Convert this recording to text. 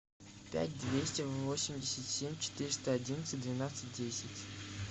пять двести восемьдесят семь четыреста одиннадцать двенадцать десять